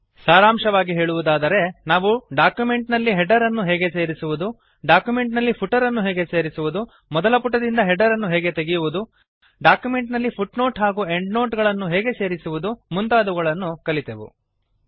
ಸಾರಾಂಶವಾಗಿ ಹೇಳುವುದಾದರೆ ನಾವು ಡಾಕ್ಯುಮೆಂಟ್ ನಲ್ಲಿ ಹೆಡರ್ ಅನ್ನು ಹೇಗೆ ಸೇರಿಸುವುದು ಡಾಕ್ಯುಮೆಂಟ್ ನಲ್ಲಿ ಫುಟರ್ ಅನ್ನು ಹೇಗೆ ಸೇರಿಸುವುದು ಮೊದಲ ಪುಟದಿಂದ ಹೆಡರ್ ಅನ್ನು ಹೇಗೆ ತೆಗೆಯುವುದು ಡಾಕ್ಯುಮೆಂಟ್ ನಲ್ಲಿ ಫುಟ್ನೋಟ್ ಹಾಗೂ ಎಂಡ್ನೋಟ್ ಅನ್ನು ಹೇಗೆ ಸೇರಿಸುವುದು ಮುಂತಾದವುಗಳನ್ನು ಕಲಿತೆವು